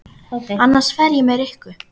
Annars fer ég með Rikku